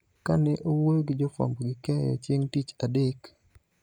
Ka ne owuoyo gi jo fuambo gi keyo chieng� tich adek,